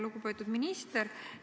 Lugupeetud minister!